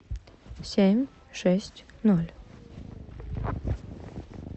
семь шесть ноль